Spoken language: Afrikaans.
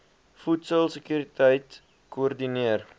voedsel sekuriteit koördineer